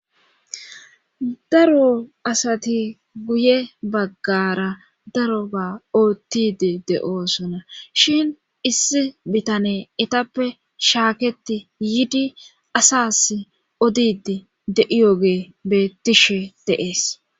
Daro asati guye baggara daroga oottide de'oosona shin issi bitane etappe shaaketi yidi asas odid de'iyoge beettishe deees.